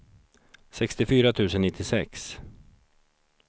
sextiofyra tusen nittiosex